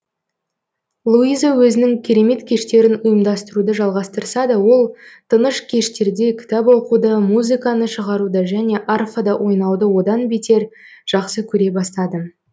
луиза өзінің керемет кештерін ұйымдастыруды жалғастырса да ол тыныш кештерде кітап оқуды музыканы шығаруды және арфада ойнауды одан бетер жақсы көре бастады